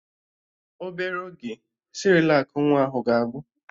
Obere oge, Sịrịlak nwa ahụ ga-agwụ